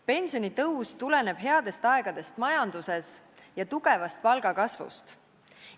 Pensionitõus tuleneb headest aegadest majanduses ja tugevast palgakasvust.